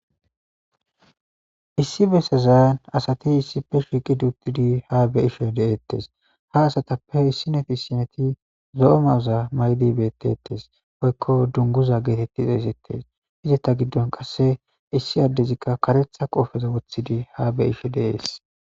issi besezan asati issife shiiqi duuttidi ha be'ishe deettes ha asatappe issineti ssineti zo'o mayoza maydi bettettes woykko dunguza geetetti xeesettes izeta giddon qasse issi addezikka karetha qoofeza wothidi ha be'ishe de'ees